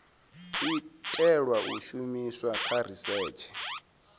itelwa u shumiswa kha risetshe